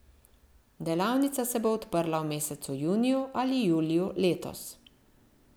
Delavnica se bo odprla v mesecu juniju ali juliju letos.